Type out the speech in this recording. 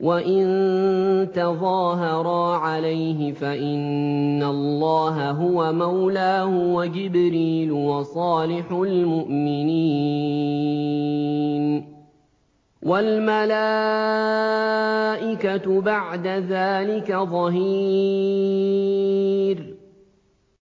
وَإِن تَظَاهَرَا عَلَيْهِ فَإِنَّ اللَّهَ هُوَ مَوْلَاهُ وَجِبْرِيلُ وَصَالِحُ الْمُؤْمِنِينَ ۖ وَالْمَلَائِكَةُ بَعْدَ ذَٰلِكَ ظَهِيرٌ